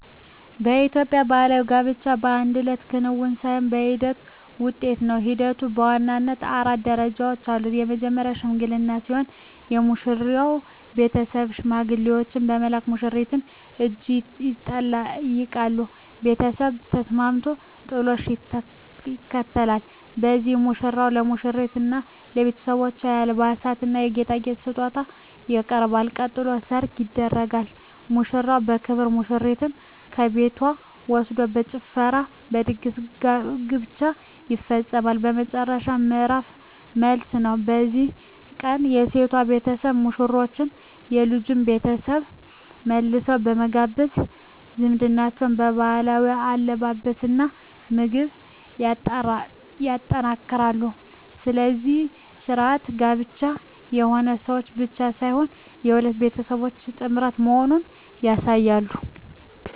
በኢትዮጵያ ባሕል ጋብቻ የአንድ እለት ክንውን ሳይሆን የሂደት ውጤት ነው። ሂደቱም በዋናነት አራት ደረጃዎች አሉት። መጀመርያው "ሽምግልና" ሲሆን፣ የሙሽራው ቤተሰብ ሽማግሌዎችን በመላክ የሙሽሪትን እጅ ይጠይቃሉ። ቤተሰብ ከተስማማ "ጥሎሽ" ይከተላል፤ በዚህም ሙሽራው ለሙሽሪትና ለቤተሰቦቿ የአልባሳትና የጌጣጌጥ ስጦታ ያቀርባል። ቀጥሎ "ሰርግ" ይደረጋል፤ ሙሽራው በክብር ሙሽሪትን ከቤቷ ወስዶ በጭፈራና በድግስ ጋብቻው ይፈጸማል። የመጨረሻው ምዕራፍ "መልስ" ነው። በዚህ ቀን የሴቷ ቤተሰቦች ሙሽሮቹንና የልጁን ቤተሰብ መልሰው በመጋበዝ ዝምድናውን በባህላዊ አለባበስና ምግብ ያጠናክራሉ። እነዚህ ሥርዓቶች ጋብቻው የሁለት ሰዎች ብቻ ሳይሆን የሁለት ቤተሰቦች ጥምረት መሆኑን ያሳያሉ።